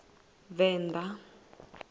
venḓa